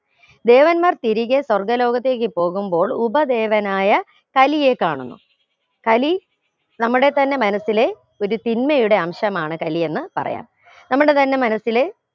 ദേവന്മാർ തിരികെ സ്വർഗ്ഗ ലോകത്തേക് പോകുമ്പോൾ ഉപദേവനായ കലിയെ കാണുന്നു കലി നമ്മുടെ തന്നെ മനസില് ഒരു തിന്മയുടെ അംശമാണ് കലിയെന്ന് പറയാം നമ്മുടെ തന്നെ മനസ്സില്